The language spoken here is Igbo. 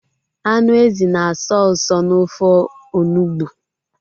Anụ ezi na asọ usọ n'ofe onugbu